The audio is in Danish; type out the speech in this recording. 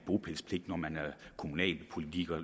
bopælspligt når man er kommunalpolitiker og